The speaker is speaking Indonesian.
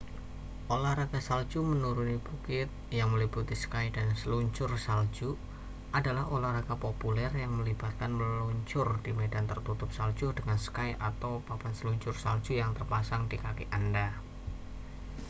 olahraga salju menuruni bukit yang meliputi ski dan seluncur salju adalah olahraga populer yang melibatkan meluncur di medan tertutup salju dengan ski atau papan seluncur salju yang terpasang di kaki anda